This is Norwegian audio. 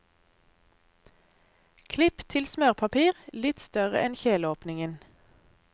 Klipp til smørpapir litt større enn kjeleåpningen.